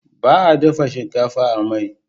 Baa dafa shinkafa a mai